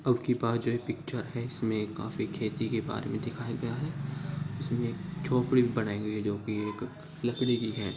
अबकी बार जो ये पिक्चर है इसमें काफी खेती के बारे में दिखाया गया है उसमें एक झोपड़ी भी बनाई गयी है जो की एक लकड़ी की है।